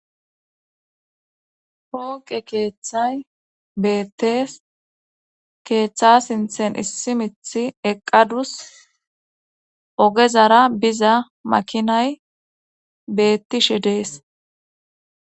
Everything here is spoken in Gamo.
Pooqe keeththay beettees keeththa sinthen issi mithi eqadus ogezara biza makinay beettishe dees.